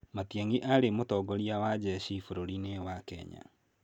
Matiangi aarĩ mũtongoria wa njeshi bũrũri-inĩ wa Kenya.